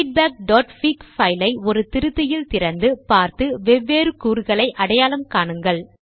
feedbackபிக் fileஐ ஒரு திருத்தியில் திறந்து பார்த்து வெவ்வேறு கூறுகளை அடையாளம் காணுங்கள்